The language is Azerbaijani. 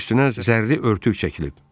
Üstünə zərli örtük çəkilib.